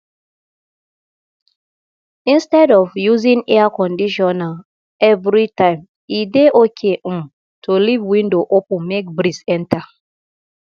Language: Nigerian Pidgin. instead of using air conditioner every time e dey okay um to leave window open make breeze enter